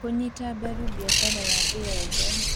Kũnyita mbaru biacara ya thĩ yothe: